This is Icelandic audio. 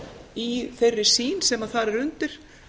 í þeirri sýn sem þar er undir